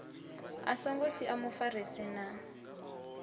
a songo sia mufarisi na